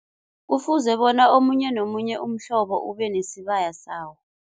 Kufuze bona omunye nomunye umhlobo ube nesibaya sawo.